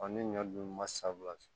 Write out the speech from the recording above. ne ɲɔ dun ma sa